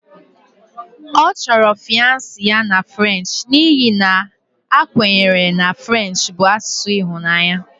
Ọ chọrọ fiance ya na French n'ihi na a kwenyere na French bụ asụsụ ịhụnanya